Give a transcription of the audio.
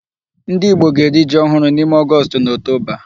Ndị Igbo ga-eri ji ohụrụ n'ime August na October.